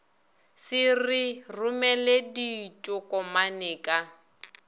se re romele ditokomane ka